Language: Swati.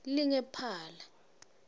lingemphala